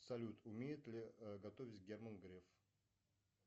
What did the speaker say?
салют умеет ли готовить герман греф